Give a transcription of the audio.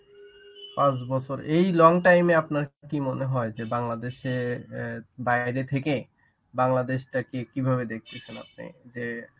পাঁচ বছর. এই long টাইম এ আপনার কি মনে হয় যে বাংলাদেশে অ্যাঁ বাইরে থেকে বাংলাদেশটাকে কি~ কিভাবে দেখতেছেন আপনি. যে